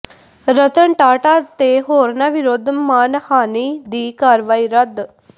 ਰਤਨ ਟਾਟਾ ਤੇ ਹੋਰਨਾਂ ਵਿਰੁੱਧ ਮਾਣਹਾਨੀ ਦੀ ਕਾਰਵਾਈ ਰੱਦ